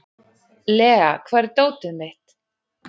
Lea, hvar er dótið mitt?